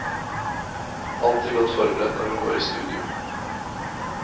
Alltid godt forberedt når hun går i studio.